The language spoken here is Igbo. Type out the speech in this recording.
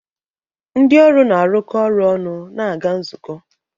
Ndị ọrụ na-arụkọ ọrụ ọnụ na-aga nzukọ.